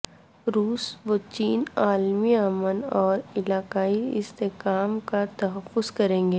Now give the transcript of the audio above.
روس و چین عالمی امن اور علاقائی استحکام کا تحفظ کرینگے